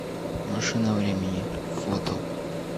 машина времени фото